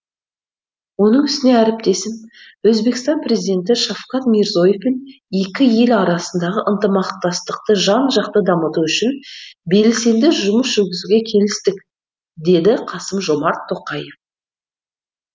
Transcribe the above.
оның үстіне әріптесім өзбекстан президенті шавкат мирзие евпен екі ел арасындағы ынтымақтастықты жан жақты дамыту үшін белсенді жұмыс жүргізуге келістік деді қасым жомарт тоқаев